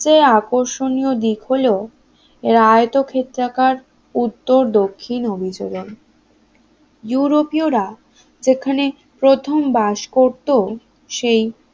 এই আকর্ষণীয় দিক হলো এর আয়তক্ষেত্রাকার উত্তর দক্ষিণ অভিযোজন ইউরোপীয়রা যেখানে প্রথম বাস করত সেই